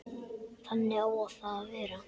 Þannig á það að vera.